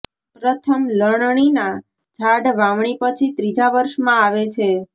પ્રથમ લણણીના ઝાડ વાવણી પછી ત્રીજા વર્ષમાં આવે છે